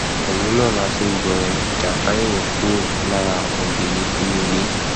òun náà la fi ngbọn jànkáríwọ kúro lára ògiri inú ilé